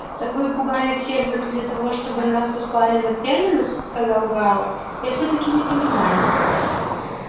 так вы пугали всех только для того чтобы нас сослали на терминус сказал гаал я всё-таки не понимаю